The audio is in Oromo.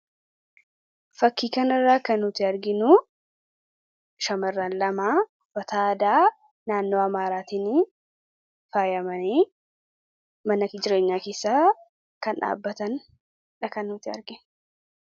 Fakkii kanarraa kan nuti arginu, shamarran lamaa uffata aadaa naannoo Amaaraatiinii faayamanii mana jireenyaa keessaa kan dhaabatan dha kan nuti arginu.